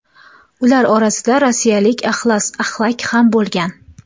Ular orasida rossiyalik Axlas Axlak ham bo‘lgan.